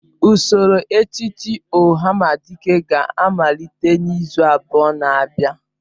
Usoro echiche ohamadike ga-amalite n'izu abụọ na abịa.